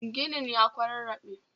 Ginin ya kwararrabe